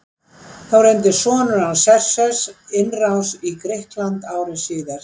Þá reyndi sonur hans Xerxes innrás í Grikkland ári síðar.